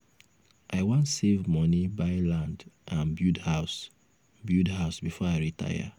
i wan save money buy land and build house build house before i retire.